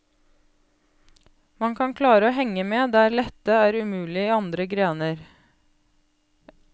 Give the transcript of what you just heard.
Man kan klare å henge med der dette er umulig i andre grener.